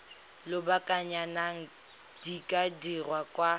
lobakanyana di ka dirwa kwa